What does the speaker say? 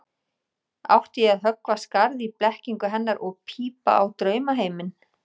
Átti ég að höggva skarð í blekkingu hennar og pípa á draumaheiminn?